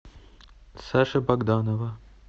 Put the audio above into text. саши богданова